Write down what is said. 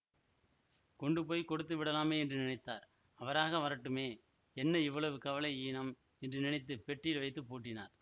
கொண்டு போய் கொடுத்துவிடலாமே என்று நினைத்தார் அவராக வரட்டுமே என்ன இவ்வளவு கவலை ஈனம் என்று நினைத்து பெட்டியில் வைத்து பூட்டினார்